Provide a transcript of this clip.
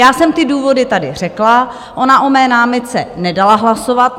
Já jsem ty důvody tady řekla, ona o mé námitce nedala hlasovat.